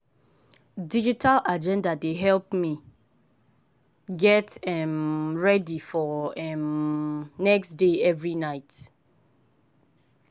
digital agenda dey help me get um ready for um next day every night.